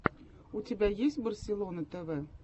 у тебя есть барселона тэвэ